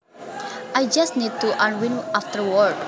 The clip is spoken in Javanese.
I just need to unwind after work